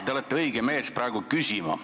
Te olete õige mees, kelle käest küsida.